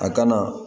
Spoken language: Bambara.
A kana